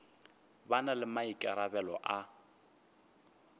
ba na le maikarabelo a